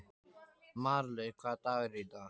Marlaug, hvaða dagur er í dag?